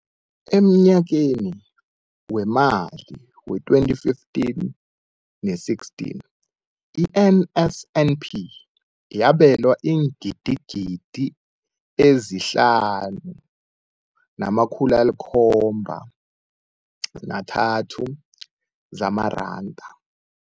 Emnyakeni wemali we-2015 ne-16, i-NSNP yabelwa iingidigidi ezi-5 703 zamaranda.